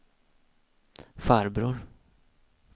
farbror